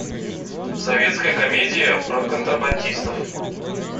советская комедия про контрабандистов